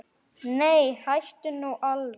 Nei, hættu nú alveg!